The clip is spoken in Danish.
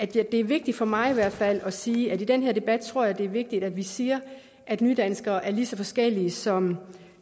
det er vigtigt for mig i hvert fald at sige at i den her debat tror jeg at det er vigtigt at vi siger at nydanskere er lige så forskellige som